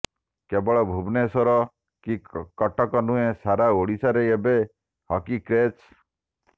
କେବଳ ଭୁବନେଶ୍ବର କି କଟକ ନୁହେଁ ସାରା ଓଡିଶାରେ ଏବେ ହକି କ୍ରେଜ